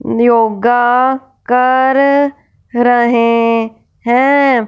योगा कर रहे हैं।